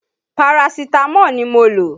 Parasitamọ́ọ̀ ni mo lò